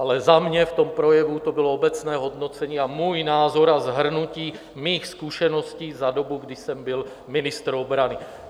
Ale za mě v tom projevu to bylo obecné hodnocení a můj názor a shrnutí mých zkušeností za dobu, kdy jsem byl ministr obrany.